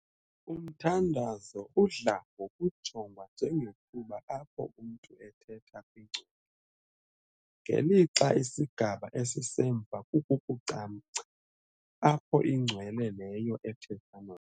Umthandazo udla ngokujongwa njengethuba apho umntu 'ethetha' kwingcwele, ngelixa isigaba esisemva kukucamngca, apho ' ingcwele ' leyo 'ethetha' nomntu.